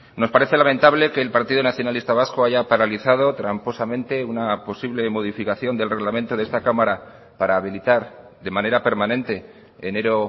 nos parece lamentable que el partido nacionalista vasco haya paralizado tramposamente una posible modificación del reglamento de esta cámara para habilitar de manera permanente enero